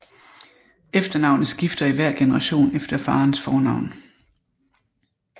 Efternavnet skifter i hver generation efter faderens fornavn